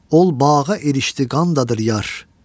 Ol bağa erişdi qanda dur Yar.